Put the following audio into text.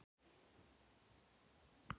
Það var enn megn lykt af henni úr lakinu.